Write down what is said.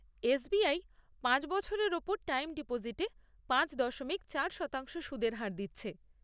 S B I পাঁচ বছরের ওপর টাইম ডিপোজিটে পাঁচ দশমিক চার শতাংশ সুদের হার দিচ্ছে।